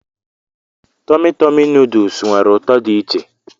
Tọmị Tọmị nuduls nwere ụtọ dị iche.